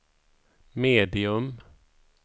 medium